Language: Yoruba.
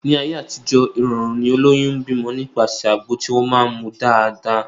Ní ayé àtijó, ìrọ̀rùn ni olóyún ń bímọ nípasẹ̀ àgbo tí wọ́n máá ń mu dáadáa